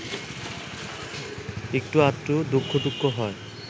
একটু আধটু দুঃখটুখ্য হয়